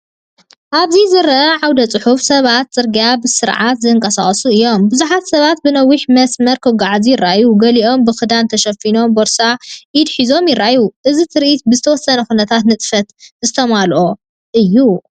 ኣብዚ ዝርአ ዓውደ-ጽሑፍ፡ ሰባት ኣብ ጽርግያ ብስርዓት ዝንቀሳቐሱ እዮም። ብዙሓት ሰባት ብነዊሕ መስርዕ ክጓዓዙ ይረኣዩ፣ ገሊኦም ብኽዳን ተሸፊኖምን ቦርሳ ኢድ ሒዞምን ይረኣዩ። እዚ ትርኢት ብዝተወሰነ ኩነታት ንጥፈታት ዝተመልአ እዩ።